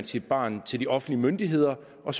sit barn til de offentlige myndigheder og